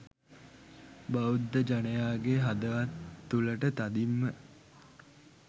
බෞද්ධ ජනයාගේ හදවත් තුළටතදින්ම